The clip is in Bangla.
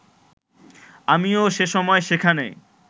আমিও সেসময় সেখানে